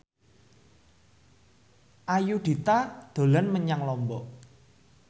Ayudhita dolan menyang Lombok